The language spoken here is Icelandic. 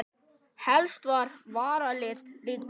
Helst með varalit líka.